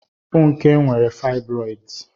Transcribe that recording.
Funke nwere fibroids.